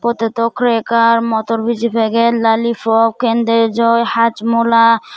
otedaw crekar motor biji peget lalipop cendejoi hajmola.